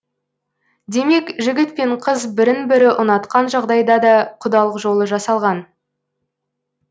демек жігіт пен қыз бірін бірі ұнатқан жағдайда да құдалық жолы жасалған